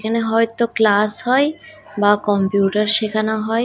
এখানে হয়তো ক্লাস হয় বা কম্পিউটার শেখানো হয়।